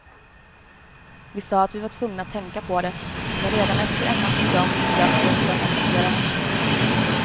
Vi sa att vi var tvungna att tänka på det, men redan efter en natts sömn beslöt vi oss för att adoptera henne.